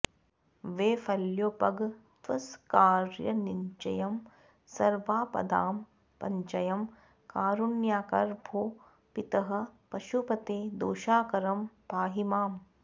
वैफल्योपगतस्वकार्यनिचयं सर्वापदां सञ्चयं कारुण्याकर भो पितः पशुपते दोषाकरं पाहि माम्